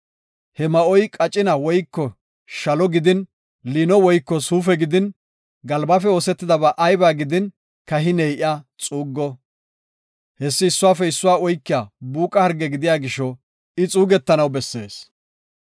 He ma7oy qacina woyko shalo gidin, liino woyko suufe gidin, galbafe oosetidaba ayba gidin, kahiney iya xuuggo. Hessi issuwafe issuwa oykiya buuqa harge gidiya gisho, I xuugetanaw bessees.